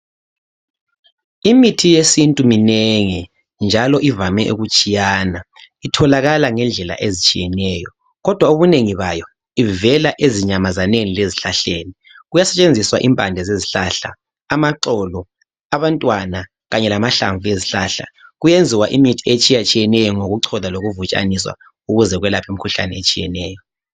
Imithi yesinti minengi njalo ivame ukutshiyana. Itholakala ngendlela ezitshiyenayo kodwa ubunengi bayo, ivela ezinyamazaneni lezihlahleni. Kuyasetshengiswa impande zezihlahla amaxolo abantwana kanye lamahlamvu ezihlahla. Kuyenziwa imithi etshiyatshiyemeyo ngokucholwa lokuvutshaniswa ukuze kwelaphe imikhuhlane etshiyeneyo.